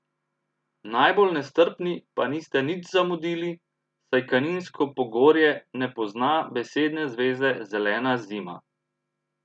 Najbolj nestrpni pa niste nič zamudili, saj kaninsko pogorje ne pozna besedne zveze zelena zima.